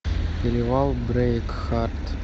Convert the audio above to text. перевал брейкхарт